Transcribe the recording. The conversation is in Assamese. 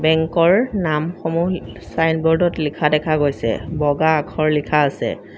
বেঙ্কৰ নামসমূহ ছাইনবোৰ্ডত লিখা দেখা গৈছে বগা আখৰ লিখা আছে।